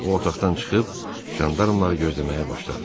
O otaqdan çıxıb jandarmları gözləməyə başladı.